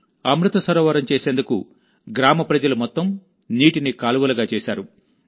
అమృత సరోవరం చేసేందుకు గ్రామ ప్రజలు మొత్తం నీటిని కాలువలుగా చేశారు